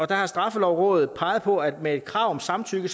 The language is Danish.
der har straffelovrådet peget på at med et krav om samtykke